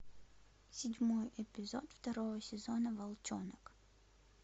седьмой эпизод второго сезона волчонок